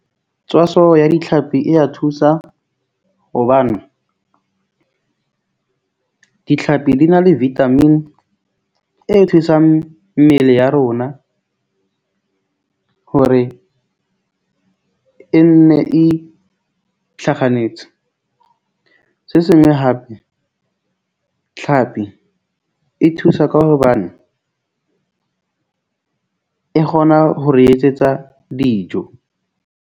Tswaso ya ditlhapi e ya thusa hobane ditlhapi di na le vitamin e thusang mmele ya rona, hore e nne e itlhakganetse. Se sengwe hape tlhapi e thusa ka hobane e kgona ho re etsetsa dijo.